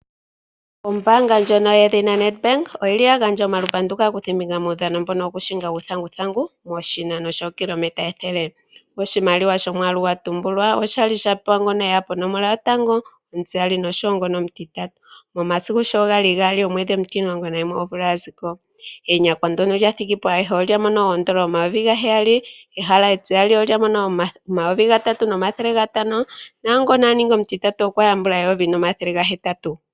Ombaanga ndjono yedhina Nedbank oya gandja omalupandu kaakuthimbinga methigathano lyokuhinga uuthanguthangu moshinano shookilometa ethele. Oshimaliwa shomwaalu gwa tumbulwa osha li sha pewa ngono e ya ponomola yotango, omutiyali nosho wo omutitatu. Momasiku sho ga li gaali momwedhi omutimulongo nagumwe omvula ya ziko. enyakwa ndyono lya thigi po ayehe olya mono N$ 7000, ehala tiyali olya mono N$3500 naa ngono a nongi omutitatu okwa yambula N$ 1800.